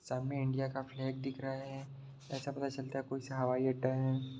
सामने इंडिया का फ्लैग दिख रहा है ऐसा पता चलता है कोई सा हवाई अड्डा है।